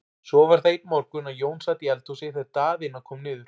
Svo var það einn morgun að Jón sat í eldhúsi þegar Daðína kom niður.